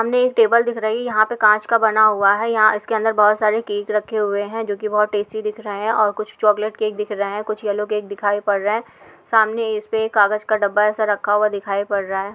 सामने एक टेबल दिख रही है यहाँ पर कांच का बना हुआ है यहाँ इसके अंदर बहुत सारे केक रखे हुए हैं जो कि बहुत टेस्टी दिख रहे हैं और कुछ चाकलेट केक दिख रहे हैं कुछ येलो केक दिखाई पड़ रहे हैं। सामने इसपे कागज़ का डब्बा ऐसा रखा हुआ दिखाई पड़ रहा है।